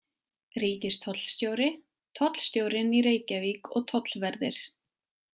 Ríkistollstjóri, tollstjórinn í Reykjavík og tollverðir.